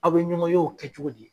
Aw bɛ ɲɔngɔn ye' kɛ cogo di.